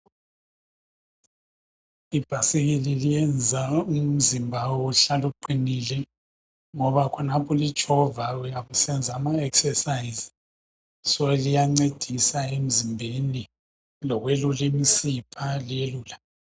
Ibhasikili liyenza umzimba uhlale uqinile ngoba khonapho ulitshova uyabe usenza ama exercise, so liyancedisa emzimbeni. Lokuyelula imsipha liyelula.